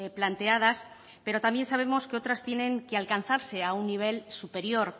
planteadas pero también sabemos que otras tienen que alcanzarse a un nivel superior